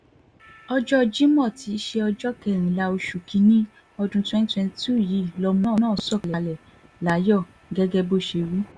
ọjọ́ jimo tí í ṣe ọjọ́ kẹrìnlá oṣù kìn-ín-ní ọdún twenty twenty two yìí lọmọ náà sọ̀kalẹ̀ láyọ̀ gẹ́gẹ́ bó ṣe wí